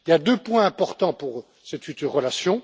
Il y a deux points importants pour cette future relation.